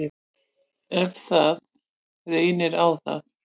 Ef það reynir á það.